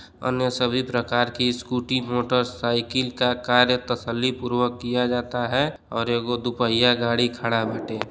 अन्य सभी प्रकार की स्कूटी मोटरसाईकिल का कार्य तसल्ली पूर्वक किया जाता है और एगो दुपहिया गाड़ी खड़ा बाटे --